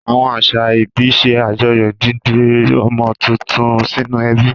Àwọn àṣà ìbí ṣe àjọyọ̀ dídé ọmọ tuntun sínú ẹbí.